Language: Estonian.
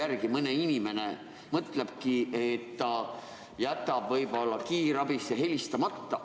Selle mõjul mõni inimene võib-olla mõtlebki, et jätab kiirabisse helistamata.